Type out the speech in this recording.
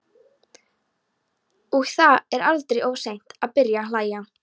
Og það er aldrei of seint að byrja að hlæja.